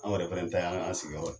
An yɛrɛ fɛnɛ ta ye an sigi yɔrɔ ye.